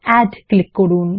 add click করুন